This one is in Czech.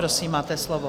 Prosím, máte slovo.